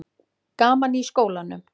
Gaman í skólanum?